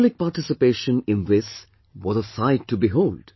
Public participation in this was a sight to behold